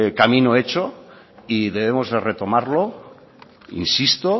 camino hecho y debemos retomarlo insisto